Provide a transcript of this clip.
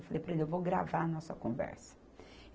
Eu falei para ele, eu vou gravar a nossa conversa.